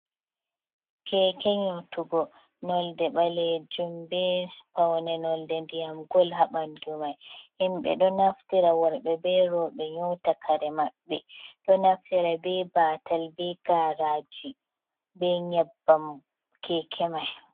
Keke nyotugo, nolde ɓalejuum be paune nolde ndiyam gol ha ɓandu mai, himbe ɗo naftira worɓe be rewɓe nyota kare maɓɓe, ɗo naftira be batal be garaji be nyabbam keke mai.